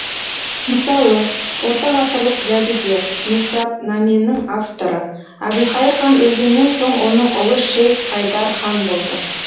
мысалы ортағасырлық жәдігер нұсратнаменің авторы әбілхайыр хан өлгеннен соң оның ұлы шейх хайдар хан болды